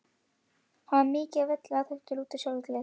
Hann var mikill á velli, áþekkur Lúter sjálfum í útliti.